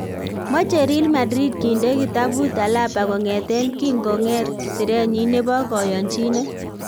Moche Real Madrid kinde kitabut Alaba kong'eten kingong'et sirenyin nebo koyonchinet